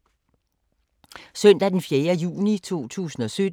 Søndag d. 4. juni 2017